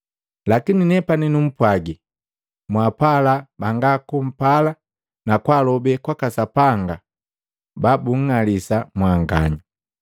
Lakini nepani numpwagi, mwaapala banga kumpala na kwaalobe kwaka Sapanga babunng'alisa mwanganya,